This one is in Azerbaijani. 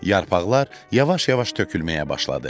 Yarpaqlar yavaş-yavaş tökülməyə başladı.